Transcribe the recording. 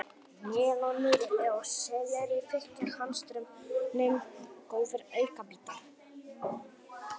Melónur og sellerí þykja hömstrum góðir aukabitar.